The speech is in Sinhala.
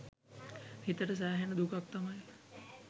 හිතට සැහෙන දුකක් තමයි.